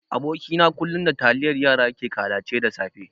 Aboki na kullun da taliyan yara yake kalace da safe.